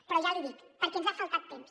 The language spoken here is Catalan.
però ja l’hi dic perquè ens ha faltat temps